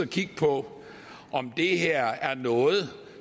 kigge på om det her er noget